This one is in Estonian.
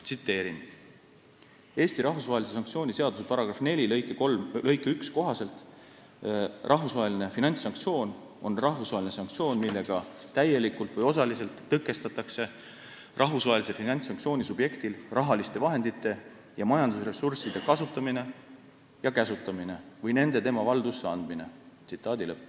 Tsiteerin Eesti rahvusvahelise sanktsiooni seaduse § 4 lõiget 1, mille kohaselt "Rahvusvaheline finantssanktsioon käesoleva seaduse tähenduses on rahvusvaheline sanktsioon, millega täielikult või osaliselt tõkestatakse rahvusvahelise finantssanktsiooni subjektil rahaliste vahendite ja majandusressursside kasutamine ja käsutamine või nende tema valdusesse andmine.